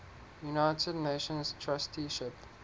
united nations trusteeship